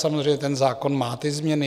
Samozřejmě, ten zákon má ty změny.